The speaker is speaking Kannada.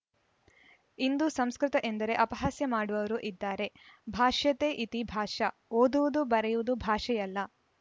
ಇಂದು ಸಂಸ್ಕೃತ ಎಂದರೆ ಅಪಹಾಸ್ಯ ಮಾಡುವವರು ಇದ್ದಾರೆ ಭಾಷ್ಯತೇ ಇತೀ ಭಾಷಾ ಓದುವುದು ಬರೆಯುವುದು ಭಾಷೆಯಲ್ಲ